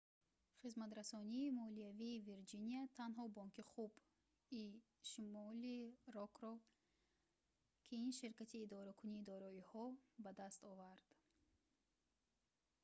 хизматрасонии молиявии вирҷиния танҳо бонки хуб и шимолӣ рокро на ин ширкати идоракунии дороиҳоро ба даст овард